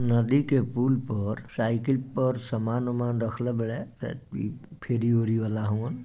नदी के पुल पर साइकिल पर सामान वामन रख ले बड़े फ्री - व्री वाला हवन |